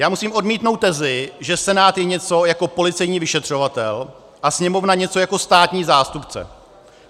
Já musím odmítnout tezi, že Senát je něco jako policejní vyšetřovatel a Sněmovna něco jako státní zástupce.